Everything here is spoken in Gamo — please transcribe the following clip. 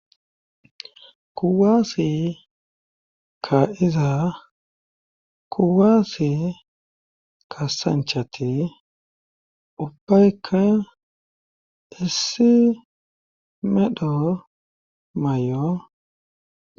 kuwaasi ka iza kuwaasi kasanchati ubbayka issi medho may7o